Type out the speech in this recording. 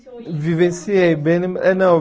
Vivenciei, bem no eh não